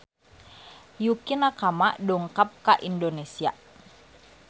Yukie Nakama dongkap ka Indonesia